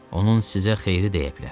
Onun sizə xeyri dəyə bilər.